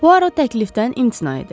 Puaro təklifdən imtina edir.